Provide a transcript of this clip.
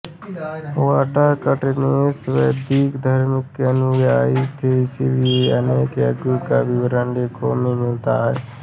वाकाटकनरेश वैदिक धर्म के अनुयायी थे इसीलिए अनेक यज्ञों का विवरण लेखों में मिलता है